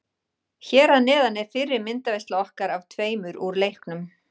Hér að neðan er fyrri myndaveisla okkar af tveimur úr leiknum.